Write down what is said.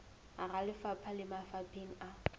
hara lefapha le mafapheng a